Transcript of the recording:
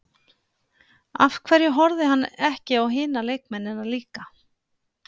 Af hverju horfði hann ekki á hina leikmennina líka?